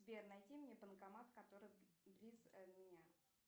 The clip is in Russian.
сбер найди мне банкомат который близ меня